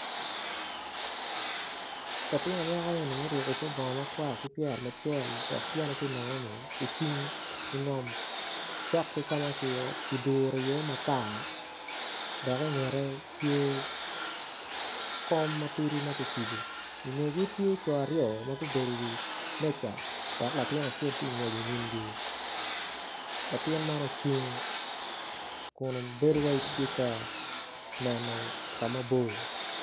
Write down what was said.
Latin anyaka eni muruku kor bongo makwar ki pyere macol dok tyene ti nono-ni ocung ingom cok ki ma ki duru iye makar dok ingette tye kom matidi ma kicibo ingegi tye co aryo ma gubedo iwi meca dok latin acel ti ka ngwec inyimgi latin man ocung kun bedo wai tye ka neno kama bor